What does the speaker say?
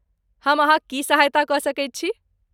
हम अहाँक की सहायता कऽ सकैत छी?